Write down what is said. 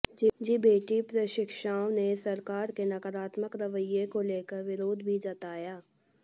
JBT प्रशिक्षओं ने सरकार के नकारात्मक रवैये को लेकर विरोध भी जताया